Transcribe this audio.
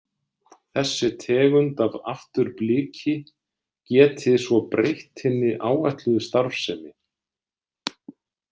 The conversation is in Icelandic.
Þessi tegund af afturbliki geti svo breytt hinni áætluðu starfsemi.